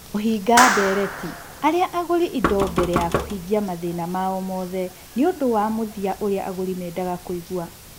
Kũhinga ndeereti arĩa agũri indo mbere ya kũhingia mathĩna mao mothe nĩ ũndũ wa mũthia ũrĩa agũri mendaga kũigua.